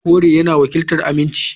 Koren yana wakiltar aminci.